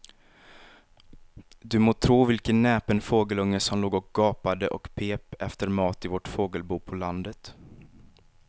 Du må tro vilken näpen fågelunge som låg och gapade och pep efter mat i vårt fågelbo på landet.